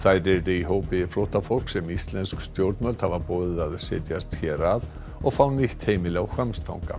í hópi flóttafólks sem íslensk stjórnvöld hafa boðið að setjast hér að og fá nýtt heimili á Hvammstanga